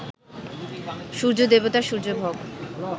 সূর্য্য-দেবতা, সূর্য্য, ভগ